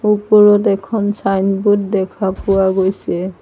ওপৰত এখন ছাইনবোৰ্ড দেখা পোৱা গৈছে।